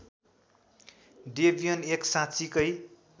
Debian एक साँच्चिकै